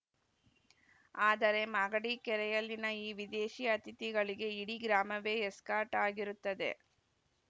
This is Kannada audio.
ಆದರೆ ಮಾಗಡಿ ಕೆರೆಯಲ್ಲಿನ ಈ ವಿದೇಶಿ ಅತಿಥಿಗಳಿಗೆ ಇಡೀ ಗ್ರಾಮವೇ ಎಸ್ಕಾರ್ಟ್‌ ಆಗಿರುತ್ತದೆ